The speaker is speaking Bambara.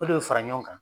O de bɛ fara ɲɔgɔn kan